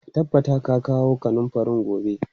Ka tabbata ka kawo kanunfarin gobe!